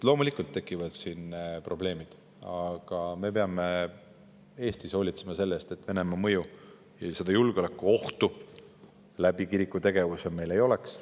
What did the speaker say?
Loomulikult tekivad siin probleemid, aga me peame Eestis hoolitsema selle eest, et Venemaa mõju ja julgeolekuohtu kiriku tegevuse kaudu meil ei oleks.